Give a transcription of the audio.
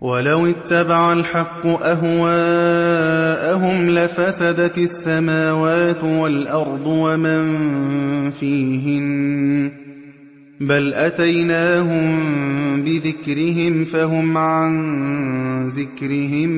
وَلَوِ اتَّبَعَ الْحَقُّ أَهْوَاءَهُمْ لَفَسَدَتِ السَّمَاوَاتُ وَالْأَرْضُ وَمَن فِيهِنَّ ۚ بَلْ أَتَيْنَاهُم بِذِكْرِهِمْ فَهُمْ عَن ذِكْرِهِم